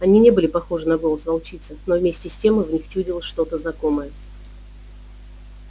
они не были похожи на голос волчицы но вместе с тем в них чудилось что то знакомое